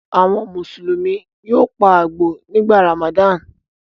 Àwọn Mùsùlùmí yóò pa àgbò nígbà Ramadan.